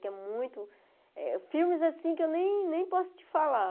Porque é muito... Filmes assim que eu nem nem posso te falar.